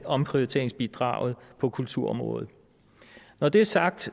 omprioriteringsbidraget på kulturområdet når det er sagt